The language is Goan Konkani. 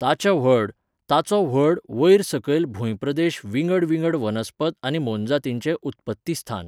ताच्या व्हड, ताचो व्हड, वयर सकयल भूंयप्रदेश विंगड विंगड वनस्पत आनी मोनजातीचें उत्पत्तीस्थान.